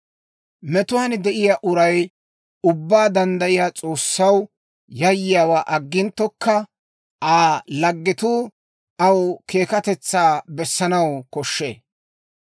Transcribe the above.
«Metuwaan de'iyaa uray Ubbaa Danddayiyaa S'oossaw yayyiyaawaa agginttokka, Aa laggetuu aw keekkatetsaa bessanaw koshshee.